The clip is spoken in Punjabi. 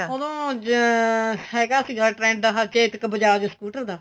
ਉਦੋਂ ਹੈਗਾ ਸੀਗਾ trend ਹਾਂ ਚੇਤਕ ਬਜਾਜ scooter ਦਾ